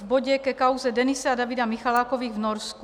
V bodě ke kauze Denise a Davida Michalákových v Norsku.